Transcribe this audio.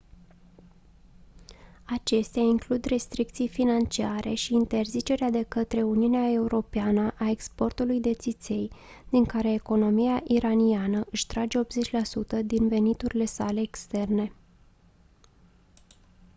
acestea includ restricții financiare și interzicerea de către uniunea europeană a exportului de țiței din care economia iraniană își trage 80% din veniturile sale externe